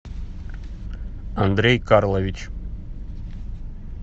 андрей карлович